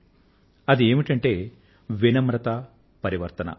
ఆ విషయం ఏమిటంటే వినమ్రత పరివర్తన